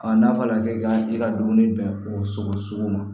n'a fɔra k'e ka i ka dumuni bɛn o sogo ma